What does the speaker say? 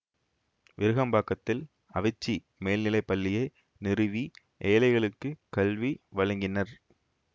விருகம்பாக்கத்தில் அவிச்சி மேல்நிலைப் பள்ளியை நிறுவி ஏழைகளுக்கு கல்வி வழங்கினர்